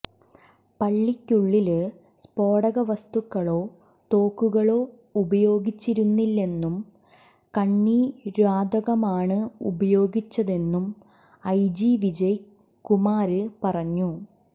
പള്ളിക്കുള്ളില് സ്ഫോടകവസ്തുക്കളോ തോക്കുകളോ ഉപയോഗിച്ചിരുന്നില്ലെന്നും കണ്ണീര്വാതകമാണ് ഉപയോഗിച്ചതെന്നും ഐജി വിജയ് കുമാര് പറഞ്ഞു